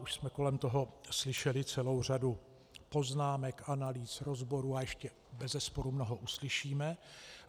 Už jsme kolem toho slyšeli celou řadu poznámek, analýz, rozborů a ještě bezesporu mnoho uslyšíme.